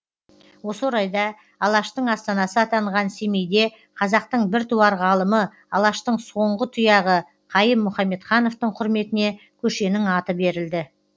осы орайда алаштың астанасы атанған семейде қазақтың біртуар ғалымы алаштың соңғы тұяғы қайым мұхамедхановтың құрметіне көшенің аты берілді